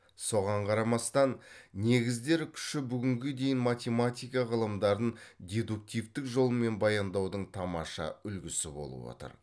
соған қарамастан негіздер күші бүгінге дейін математика ғылымдарын дедуктивтік жолмен баяндаудың тамаша үлгісі болып отыр